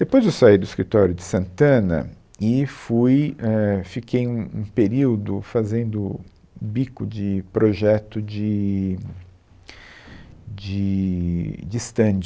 Depois eu saí do escritório de Santana e fui, é, fiquei um um período fazendo bico de projeto de de de stand.